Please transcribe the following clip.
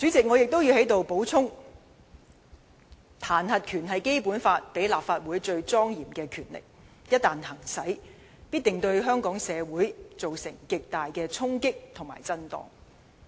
我亦要在此補充，彈劾權是《基本法》賦予立法會最莊嚴的權力，一旦行使該權力，必定對香港社會造成極大的衝擊和震盪。